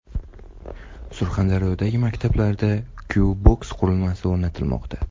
Surxondaryodagi maktablarda Q-Box qurilmasi o‘rnatilmoqda.